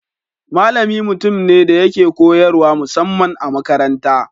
Malami mutum ne da yake koyarwa musamman a makaranta.